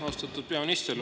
Austatud peaminister!